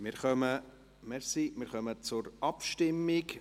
Wir kommen zur Abstimmung.